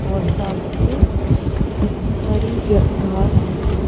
और सामने हरी घास भी है।